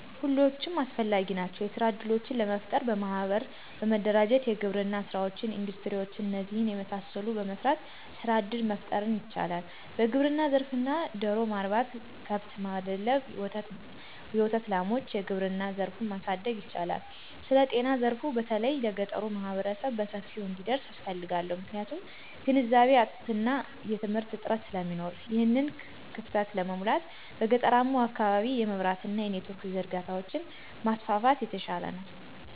ሁሎችም አስፈላጊ ናቸዉ። የስራ እድሎችን ለጠረፍጠር በማሕበር በመደራጀት የግብርና ሥራወችን፣ እንዱስትሪ ውችን እነዚህን የመሳሰሉትን በመሰራት ሥራ እድል መፍጠር ይቻላል። በግብርና ዘርፍ ላይ ደሮ ማርባት፣ ከብት ማድለብ፣ የወተት ላሟች፣ የግብርና ዘርፉን ማሣደግ ይቻላል። ስለጤናዘርፋ በተለይ ለገጠሩህብረተሰብ በሰፊው እንዲደርስ እፈልጋለሁ። ምክንያቱም ግንዛቤ እጥአትና የትምህርት እጥረት ስለሚኖር። ይሕንን ክፋተት ለመሙላት፦ በገጠራማዉ አካባቢ የመብራት አና የኔትወርክ ዝርጋታዎችን ማስፋፋት የተሻለ ነዉ